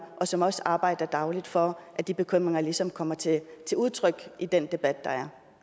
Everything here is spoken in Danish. og som også arbejder dagligt for at de bekymringer ligesom kommer til udtryk i den debat der er